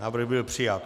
Návrh byl přijat.